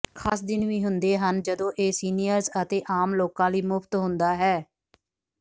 ਖਾਸ ਦਿਨ ਵੀ ਹੁੰਦੇ ਹਨ ਜਦੋਂ ਇਹ ਸੀਨੀਅਰਜ਼ ਅਤੇ ਆਮ ਲੋਕਾਂ ਲਈ ਮੁਫ਼ਤ ਹੁੰਦਾ ਹੈ